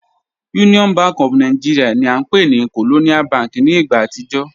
Union Bank of Nigeria ni a npe ni Colonial Bank ni igba atijọ